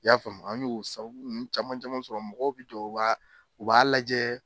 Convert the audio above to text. I y'a faamu an y'o sabu nun caman caman sɔrɔ mɔgɔw bɛ jɔ u b'a u b'a lajɛ.